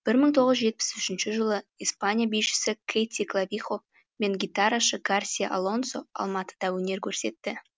бір мың тоғыз жүз жетпіс үшінші жылы испания бишісі кэти клавихо мен гитарашы гарсия алонсо алматыда өнер көрсетті